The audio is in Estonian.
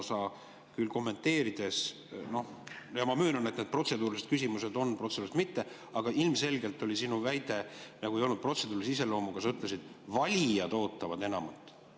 Sa küll kommenteerides ütlesid – ma möönan, et need protseduurilised küsimused on vahel protseduurilised, vahel mitte, aga sinu väide ei olnud ilmselgelt protseduurilise iseloomuga –, et valijad ootavad enamat.